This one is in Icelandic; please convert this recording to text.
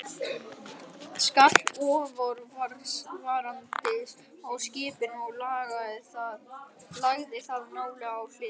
skall óforvarandis á skipinu og lagði það nálega á hliðina.